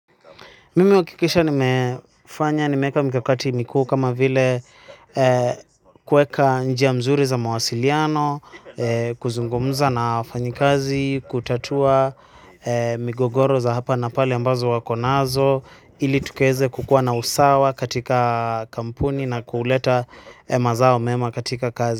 Mimi uhakikisha nimefanya, nimeeka mikakati mikuu kama vile kueka njia mzuri za mawasiliano, kuzungumuza na wafanyi kazi, kutatua migogoro za hapa na pale ambazo wakonazo, ili tukaeze kukua na usawa katika kampuni na kuuleta mazao mema katika kazi.